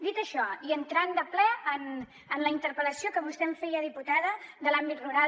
dit això i entrant de ple en la interpel·lació que vostè em feia diputada de l’àmbit rural